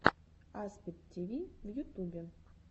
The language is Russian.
аспид тиви в ютубе